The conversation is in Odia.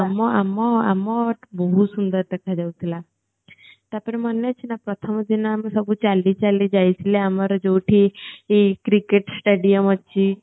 ଆମ ଆମ ଆମର୍ ବହୁତ ସୁନ୍ଦର ଦେଖା ଯାଉଥିଲା ତାପରେ ମନେ ଅଛି ନା ପ୍ରଥମ ଦିନ ଆମେ ସବୁ ଚାଲି ଚାଲି ଯାଇଥିଲେ ଆମର ଯୋଉଠି ଏ cricket stadium ଅଛି